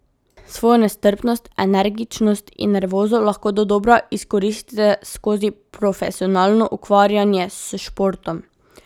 Svojo nestrpnost, energičnost in nervozo lahko dodobra izkoristite skozi profesionalno ukvarjanje s športom.